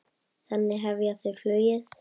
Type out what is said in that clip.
Þannig hefja þau flugið.